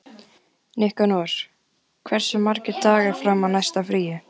Nikanor, hversu margir dagar fram að næsta fríi?